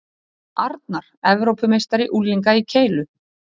Arnar Evrópumeistari unglinga í keilu